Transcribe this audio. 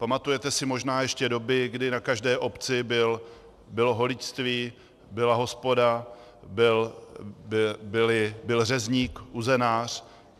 Pamatujeme si možná ještě doby, kdy na každé obci bylo holičství, byla hospoda, byl řezník, uzenář.